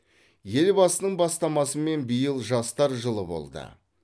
елбасының бастамасымен биыл жастар жылы болды